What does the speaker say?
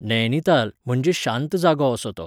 नयनिताल म्हणजे शांत जागो असो तो.